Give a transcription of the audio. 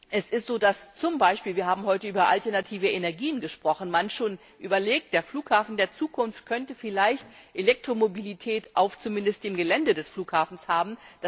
Es ist so, dass man zum Beispiel wir haben heute über alternative Energien gesprochen schon überlegt, der Flughafen der Zukunft könnte vielleicht Elektromobilität zumindest auf dem Gelände des Flughafens haben.